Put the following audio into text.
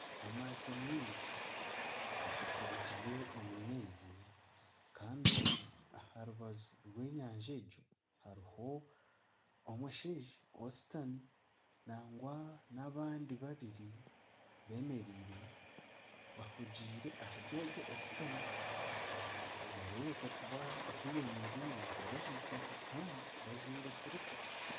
Amato maingi agaterekirwe omu maizi, kandi obwe aha rubaju rw'enyanja egyo hariho omushaija oshutami. Nangwa n'abandi babiri bemereire bahugiire ahari ogwe oshutami. Nibareebereka kuba ahi bemereire bari ah'eitaka kandi bajwaire siripa.